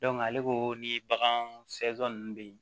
ale ko ni bagan ninnu bɛ ye